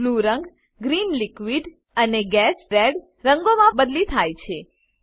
blue રંગ green અને red રંગોમાં બદલી થાય છે